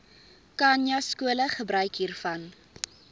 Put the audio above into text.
khanyaskole gebruik hiervan